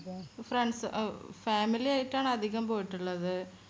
friends family ആയിട്ടാണ് അധികം പോയിട്ടുള്ളത്